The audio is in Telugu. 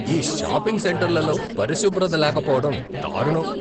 ఈ షాపింగ్ సెంటర్లలో పరిశుభ్రత లేకపోవడం దారుణం.